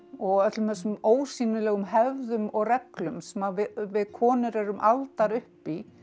og öllum þessum ósýnilegu hefðum og reglum sem við konur erum aldar upp í